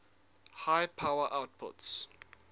high power outputs